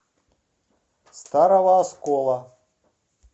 старого оскола